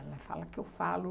Ela fala que eu falo.